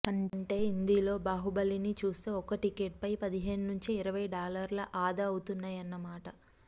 అంటే హిందీలో బాహుబలిని చూస్తే ఒక్క టికెట్పై పదిహేను నుంచి ఇరవై డాలర్లు ఆదా అవుతాయన్నమాట